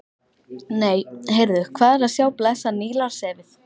Nei, heyrðu, hvað er að sjá blessað Nílarsefið!